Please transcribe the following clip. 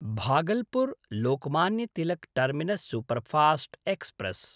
भागलपुर्–लोकमान्य Tilak terminus superfast express